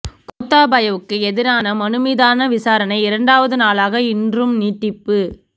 கோத்தாபயவுக்கு எதிரான மனு மீதான விசாரணை இரண்டாவது நாளாக இன்றும் நீடிப்பு